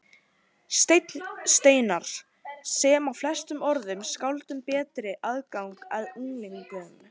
Stein Steinarr, sem á flestum öðrum skáldum betri aðgang að unglingum.